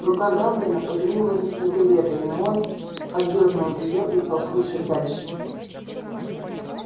рука хардина потянулась за сигарой но он отдёрнул её и стал слушать дальше